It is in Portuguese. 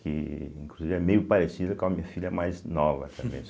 Que inclusive é meio parecida com a minha filha mais nova também.